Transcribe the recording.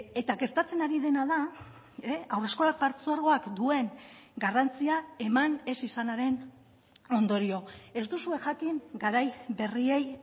eta gertatzen ari dena da haurreskolak partzuergoak duen garrantzia eman ez izanaren ondorio ez duzue jakin garai berriei